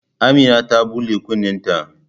Amina ta bula kunne ta